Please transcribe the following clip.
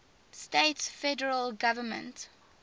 states federal government